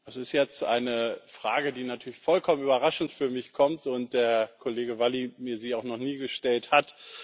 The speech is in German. Das ist jetzt eine Frage, die natürlich vollkommen überraschend für mich kommt und der Kollege Valli mir auch noch nie gestellt hat.